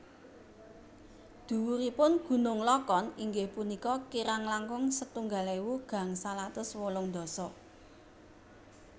Dhuwuripun Gunung Lokon inggih punika kirang langkung setunggal ewu gangsal atus wolung dasa